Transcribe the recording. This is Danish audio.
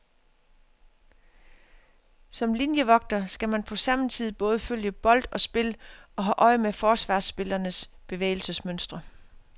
Som linievogter skal man på samme tid både følge bold og spil og holde øje med forsvarsspillernes bevægelsesmønstre.